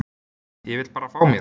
Ég vil bara fá mér.